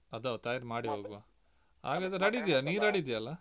ಅದು ಹೌದು ತಯಾರಿ ಮಾಡಿ ಹೋಗುವ ಹಾಗಾದ್ರೆ ready ಇದ್ಯಲ್ಲ ನೀನ್ ready ಇದ್ಯಲ್ಲ.